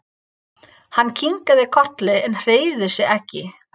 Hann kinkaði kolli en hreyfði sig ekki.